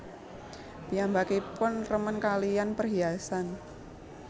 Piyambakipun remen kalihan perhiasan